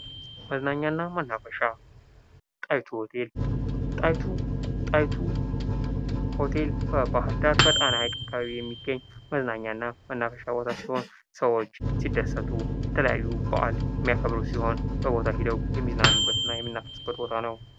መዝናኛና መናፈሻ ጣይቱ ሆቴል በባህር ዳር በጣና ሃይቅ አካባቢ በሚገኝ መዝናኛ እና በመናፈሻ ቦታ ሲሆን፤ ሰዎች ሲደሰቱ የተለያዩ በዓል የሚያከብሩ ሲሆን፤ በቦታው ሄደው የሚዝናኑበት እና የሚናፈሱበት ቦታ ነው።